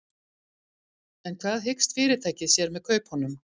En hvað hyggst fyrirtækið sér með kaupunum?